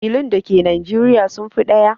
ƙabilun dake Nijeriya sun fi ɗaya.